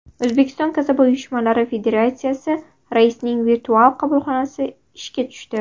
O‘zbekiston kasaba uyushmalari Federatsiyasi raisining virtual qabulxonasi ishga tushdi.